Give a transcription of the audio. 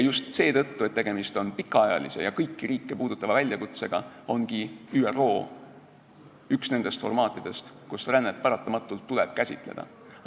Just seetõttu, et tegemist on pikaajalise ja kõiki riike puudutava väljakutsega, ongi ÜRO üks nendest formaatidest, kus rännet paratamatult käsitleda tuleb.